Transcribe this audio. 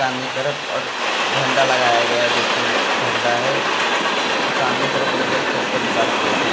सामने के तरफ और झंडा लगाया गया है। दो तीन झंडा है और सामने के तरफ कई लोग चप्पल उतार के बैईठे हैं।